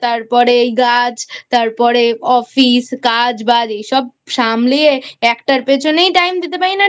তারপর গাছ তারপরে Office কাজ বাজ এসব সামলিয়ে একটার পিছনেই Time দিতে পারি না